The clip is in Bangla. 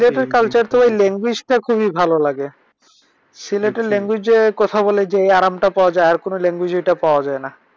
সিলেটের culture ঐ language টা খুবি ভালো লাগে। সিলেটের যে language এ কথা বলে যে আরামটা পাওয়া যার আর কোন language এ এটা পাওয়া যায়না।